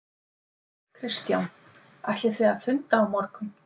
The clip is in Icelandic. Kristján: Ætlið þið að funda á morgun?